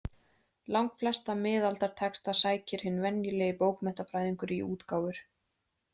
Langflesta miðaldatexta sækir hinn venjulegi bókmenntafræðingur í útgáfur.